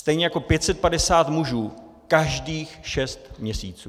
Stejně jako 550 mužů každých šest měsíců.